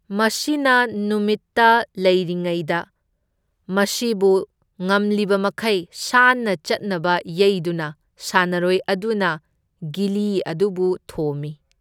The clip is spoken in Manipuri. ꯃꯁꯤꯅ ꯅꯨꯡꯁꯤꯠꯇ ꯂꯩꯔꯤꯉꯩꯗ, ꯃꯁꯤꯕꯨ ꯉꯝꯂꯤꯕꯃꯈꯩ ꯁꯥꯟꯅ ꯆꯠꯅꯕ ꯌꯩꯗꯨꯅ, ꯁꯥꯟꯅꯔꯣꯏ ꯑꯗꯨꯅ ꯒꯤꯂꯤ ꯑꯗꯨꯕꯨ ꯊꯣꯝꯃꯤ꯫